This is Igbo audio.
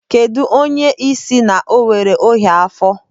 Kedụ onye ị sị na o nwere ọnyá afọ?